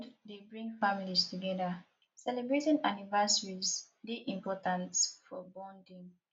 food dey bring families together celebratin anniversaries dey important for bonding